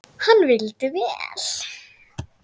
Hann vildi vel.